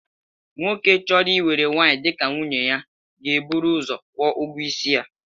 Nwoke chọrọ iwere nwaanyị dịka nwunye na-eburu ụzọ kwụọ ụgwọisi ya